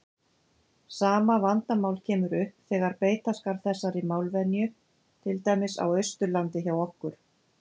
Sama vandamál kemur upp þegar beita skal þessari málvenju til dæmis á Austurlandi hjá okkur.